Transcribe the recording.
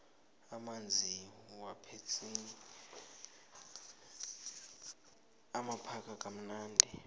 amanzi wepetsini amakhaza kamnandi